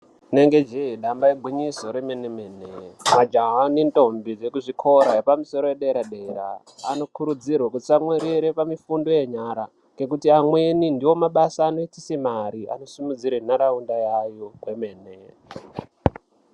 Rinenge jee damba igwinyiso remene mene majaha nentombi dzekuzvikora zvepamusoro yedera dera anokurudzirwa kutsamwirira pamifundo yenyara ngekuti amweni ndomabasa anoitise mare anosimudzire ntaraunda yawo kwemene.